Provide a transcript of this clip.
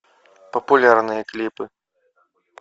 популярные клипы